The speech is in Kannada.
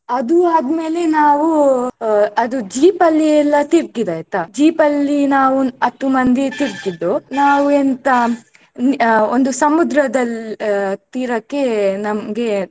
ಅದು ಆದ್ಮೇಲೆ ನಾವು ಅಹ್ ಅದೂ jeep ಅಲ್ಲಿ ಎಲ್ಲಾ ತಿರ್ಗಿದ್ದಾಯ್ತ jeep ಅಲ್ಲಿ ನಾವು ಹತ್ತು ಮಂದಿ ತಿರ್ಗಿದ್ದು ನಾವು ಎಂತ ನಿ ಆ ಒಂದು ಸಮುದ್ರದಲ್ ಆ ತೀರಕ್ಕೆ ನಮ್ಗೆ.